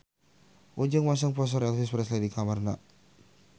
Ujang masang poster Elvis Presley di kamarna